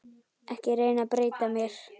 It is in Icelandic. Ekki reyna að breyta mér.